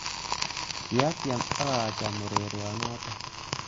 Kiatyem ak acham urerionotok